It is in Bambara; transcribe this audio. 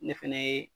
Ne fɛnɛ ye